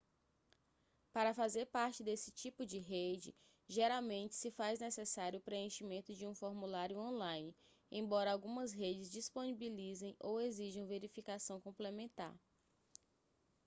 para fazer parte desse tipo de rede geralmente se faz necessário o preenchimento de um formulário on-line embora algumas redes disponibilizem ou exijam verificação complementar